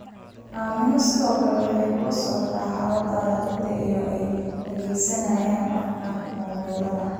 Aamina sidoo kale waxay kula socotaa xaaladaha ciidda iyada oo adeegsanaysa apps-ka mobilada.